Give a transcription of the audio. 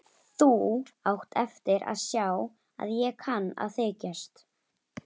Þú átt eftir að sjá að ég kann að þykjast.